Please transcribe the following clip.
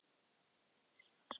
Virðist hafa skotið sig.